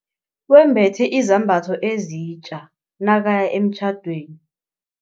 Wembethe izambatho ezitja nakaya emtjhadweni.